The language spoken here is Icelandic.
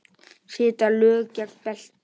Setja lög gegn betli